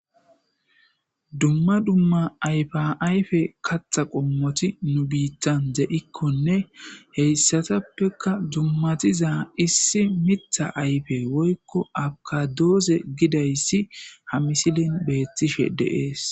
dumma dumma ayfa ayfe katha qommoti nu biittan ze7ikkonne heyssatappeka dummatiza issi mitha ayfe woykko akadoose gidayssi ha misilin beettishe deees